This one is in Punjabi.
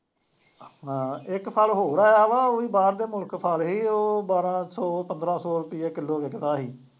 ਹਾਂ ਇੱਕ ਫਲ ਹੋਰ ਆਇਆ ਵਾ, ਉਹ ਵੀ ਬਾਹਰ ਦੇ ਮੁਲਕ ਫਲ ਸੀ, ਉਹ ਬਾਰਾਂ ਸੌੰ, ਪੰਦਰਾ ਸੌ ਰੁਪਈਏ ਕਿਲੋ ਵਿਕਦਾ ਸੀ